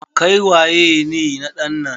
Kai waye ne na ɗan nan?